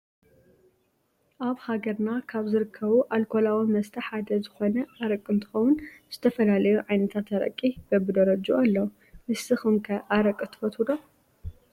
ኣብ ሃገርና ካብ ዝርከቡ ኣልኮላዊ መስተ ሓደ ዝኮነ ኣረቂ እንትኮውን ዝተፈላለዩ ዓይነታት ኣረቂ በቢደረጅኡ ኣለው። ንስኩም ከ ኣረቂ ትፈትው ዶ ?